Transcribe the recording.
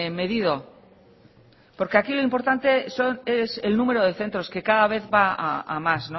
medido porque aquí lo importante es el número de centros que cada vez va a más